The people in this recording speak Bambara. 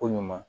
Ko ɲuman